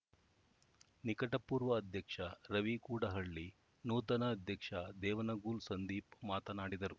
ನಿಕಟಪೂರ್ವ ಅಧ್ಯಕ್ಷ ರವಿ ಕೂಡಹಳ್ಳಿ ನೂತನ ಅಧ್ಯಕ್ಷ ದೇವನಗೂಲ್‌ ಸಂದೀಪ್‌ ಮಾತನಾಡಿದರು